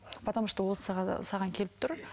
потому что ол саған келіп тұр